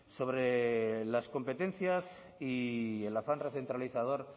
azkena y del afán recentralizador